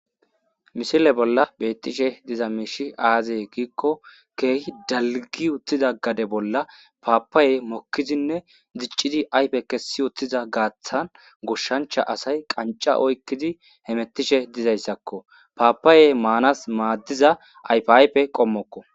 Misile bolla beetishe dizay aaze giiko keehi dalggi uttidaa gade bolla Papaya mokkidinne diccidi ayfe kessi utttida gaaththan goshancha asay qachcha oykidi hemettishe dizayssako papayay maanas maadiza ayfa ayfe qommoko.